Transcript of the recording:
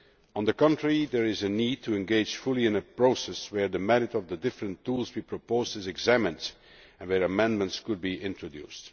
On the contrary, there is a need to engage fully in a process where the merit of the different tools we proposed is examined and where amendments could be introduced.